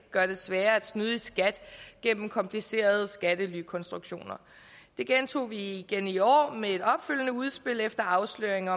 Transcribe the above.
gøre det sværere at snyde i skat gennem komplicerede skattelykonstruktioner det gentog vi igen i år med et opfølgende udspil efter afsløringen